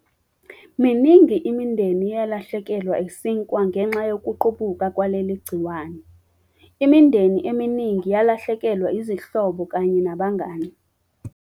Miningi imindeni eyalahlekelwa isikwa ngenxa yokuqubuka kwaleli gciwane. Imindeni eminingi yalahlekelwa izihlobo kanye nabangani.